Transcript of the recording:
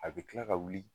A bɛ kila ka wuli